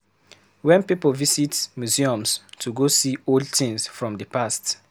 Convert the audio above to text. Wen pipo visit museums to go see old things from di past